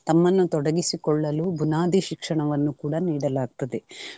ತಮ್ಮನ್ನು ತೊಡಗಿಸಿಕೊಳ್ಳಲು ಬುನಾದಿ ಶಿಕ್ಷಣವನ್ನು ಕೂಡಾ ನೀಡಲಾಗ್ತದೆ.